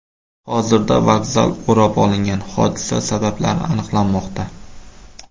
Hozirda vokzal o‘rab olingan, hodisa sabablari aniqlanmoqda.